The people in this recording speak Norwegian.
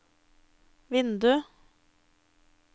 vindu